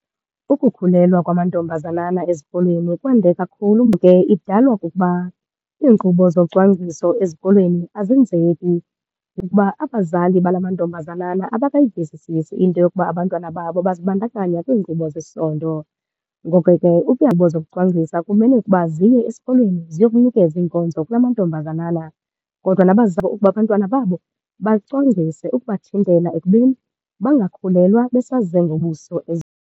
Ukukhulelwa kwamantombazanana ezikolweni kwande kakhulu idalwa kukuba iinkqubo zocwangciso ezikolweni azenzeki ukuba abazali bala mantombazana abakayivisisisi into yokuba abantwana babo bazibandakanya kwiinkqubo zesondo. Ngoko ke zokucwangcisa kumele ukuba ziye esikolweni ziye wokunikeza iinkonzo kula namantombazanana. Kodwa ukuba abantwana babo bacwangcise ukubathintela ekubeni bangakhulelwa baseze ngobuso .